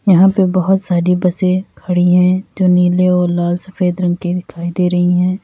यहां पे बहोत सारी बसें खड़ी है जो नीले और लाल सफेद रंग की दिखाई दे रही है।